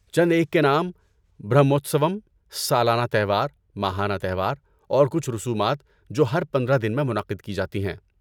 چند ایک کے نام برہموتسوم، سالانہ تہوار، ماہانہ تہوار اور کچھ رسومات جو ہر پندرہ دن میں منعقد کی جاتی ہیں